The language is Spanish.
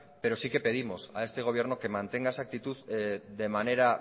pero sí que pedimos a este gobierno que mantenga esa actitud de manera